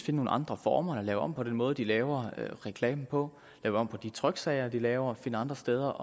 nogle andre former og lave om på den måde de laver reklamen på lave om på de tryksager de laver og finde andre steder